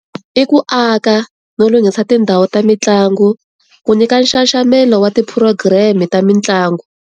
I ku aka no lunghisa tindhawu ta mitlangu ku nyika nxaxamelo wa ti program-e ta mitlangu.